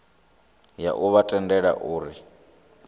ya u vha tendela uri